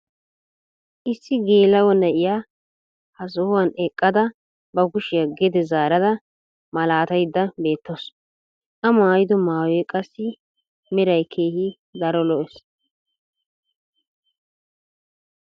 issi geela'o na'iya ha sohuwan eqqada ba kushshiya gede zaarada malaataydda beetawusu. a maayido mayuwayo qassi meray keehi daro lo'ees.